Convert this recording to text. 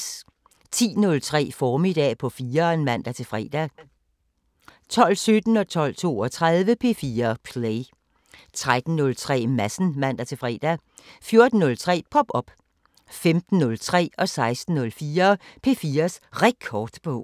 10:03: Formiddag på 4'eren (man-fre) 12:17: P4 Play 12:32: P4 Play 13:03: Madsen (man-fre) 14:03: Pop op 15:03: P4's Rekordbog 16:04: P4's Rekordbog